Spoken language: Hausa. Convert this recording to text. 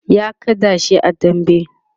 ya kada shi a dambe